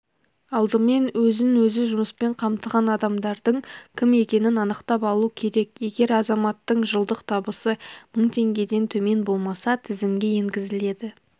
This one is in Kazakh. алдымен өзін өзі жұмыспен қамтыған адамдардың кім екенін анықтап алу керек егер азаматтың жылдық табысы мың теңгеден төмен болмаса тізімге енгізіледі